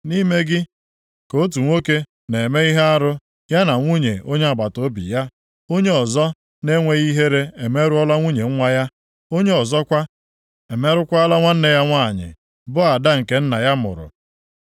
Nʼime gị ka otu nwoke na-eme ihe arụ ya na nwunye onye agbataobi ya, onye ọzọ na-enweghị ihere emerụọla nwunye nwa ya, onye ọzọkwa, emerụkwala nwanne ya nwanyị, bụ ada nke nna ya mụrụ.